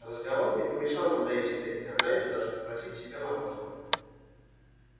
разговор не помешал нам доесть стейки а найду даже попросить себе мороженого